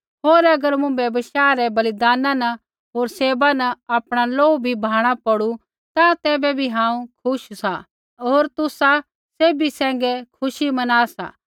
होर अगर मुँभै बशाह रै बलिदाना न होर सेवा न आपणा लोहू भी बहाणा पौड़ू ता तैबै भी हांऊँ खुश सा होर तुसा सैभी सैंघै खुशी मना सा